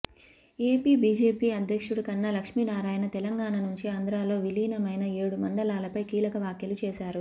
AP BJP అధ్యక్షుడు కన్నా లక్ష్మీనారాయణ తెలంగాణ నుంచి ఆంధ్రలో విలీనమైన ఏడు మండలాలపై కీలక వ్యాఖ్యలు చేశారు